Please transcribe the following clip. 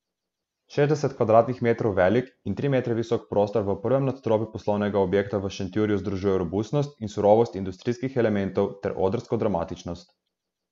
Šestdeset kvadratnih metrov velik in tri metre visok prostor v prvem nadstropju poslovnega objekta v Šentjurju združuje robustnost in surovost industrijskih elementov ter odrsko dramatičnost.